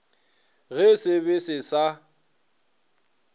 ge se be se sa